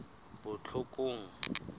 botlhokong